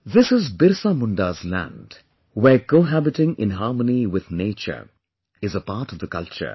This is BirsaMunda's land, where cohabiting in harmony with nature is a part of the culture